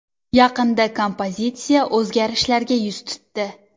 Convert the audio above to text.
Yaqinda kompozitsiya o‘zgarishlarga yuz tutdi.